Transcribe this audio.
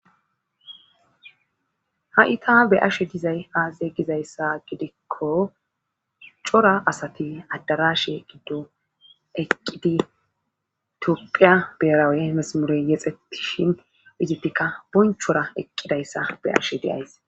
ha7i ta be ashe dizay aaze gizayssa gidikko cora asati addarashe giddo eqqidi tiophiya beerawe emesamure yexetishin izitikka bonchora eqqidayssa be ashe deays